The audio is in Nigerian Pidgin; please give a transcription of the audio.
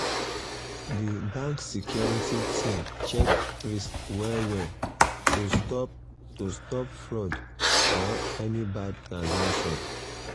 the bank security team check risk well well um to stop to stop fraud or any bad transaction.